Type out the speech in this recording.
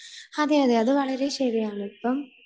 അതെയതെ അത് വളരെ ശരിയാണ് ഇപ്പം